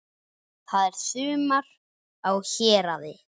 Það er sumar á Héraði.